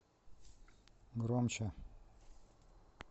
громче